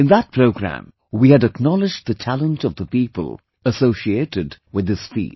In that program, we had acknowledged the talent of the people associated with this field